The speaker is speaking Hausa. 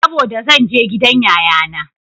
Saboda zan je gidan yayana.